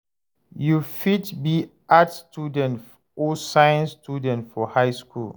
You fit be Arts student or Science student for high skool.